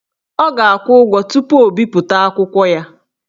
Ọ ga-akwụ ụgwọ tupu o bipụta akwụkwọ ya